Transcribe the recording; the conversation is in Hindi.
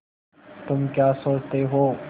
तुम क्या सोचते हो